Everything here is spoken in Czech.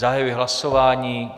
Zahajuji hlasování.